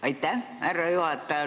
Aitäh, härra juhataja!